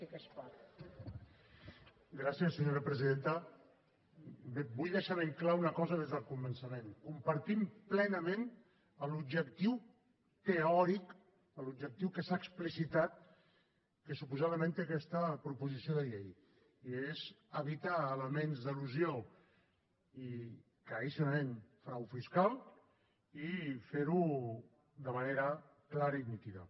bé vull deixar ben clara una cosa des del començament compartim plenament l’objectiu teòric l’objectiu que s’ha explicitat que suposadament té aquesta proposició de llei i és evitar elements d’elusió i claríssimament frau fiscal i fer ho de manera clara i nítida